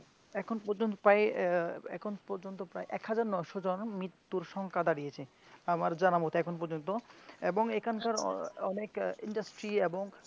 এখন পর্যন্ত প্রায় এর এখন পর্যন্ত প্রায় এক হাজার ন'শ জন মৃত্যুর সংখ্যা দাঁড়িয়েছে আমার জানা মতে এখনও এবং এখানকার অনেক industry এবং